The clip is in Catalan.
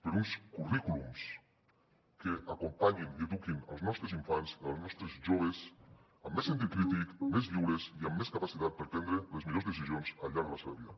per uns currículums que acompanyin i eduquin els nostres infants els nostres joves amb més sentit crític més lliures i amb més capacitat per prendre les millors decisions al llarg de la seva vida